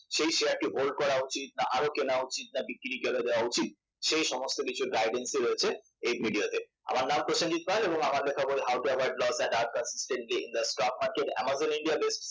সেই শেয়ারকে hold করা উচিত নাকি আরো কেনা উচিত না বিক্রি করে দেওয়া উচিত সেই সমস্ত বিষয়ে guidance ই রয়েছে এই video তে আমার নাম প্রসেনজিত পাল আমার লেখা বই How to Avoid Loss and Earn Consistently in the Stock Marketamazon bestseller